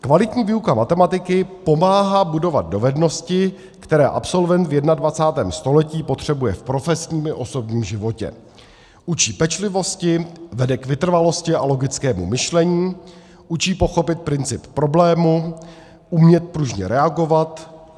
Kvalitní výuka matematiky pomáhá budovat dovednosti, které absolvent v 21. století potřebuje v profesním i osobním životě: učí pečlivosti; vede k vytrvalosti a logickému myšlení; učí pochopit princip problému, umět pružně reagovat;